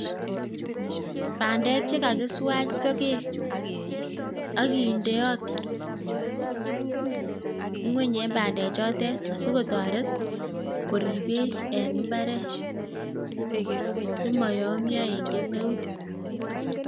Pandek chekakiswach sogek, akindeot ngwony ing pandek choten sikotoret korib bek. Simoyomyo eng kemeut.